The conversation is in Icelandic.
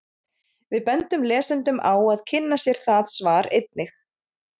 Við bendum lesendum á að kynna sér það svar einnig.